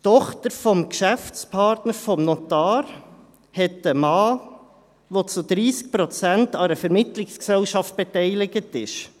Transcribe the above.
Die Tochter des Geschäftspartners des Notars hat einen Mann, der zu 30 Prozent an einer Vermittlungsgesellschaft beteiligt ist.